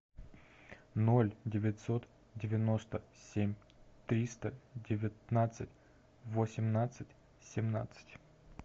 ноль девятьсот девяносто семь триста девятнадцать восемнадцать семнадцать